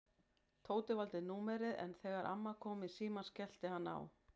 Tóti valdi númerið en þegar amman kom í símann skellti hann á.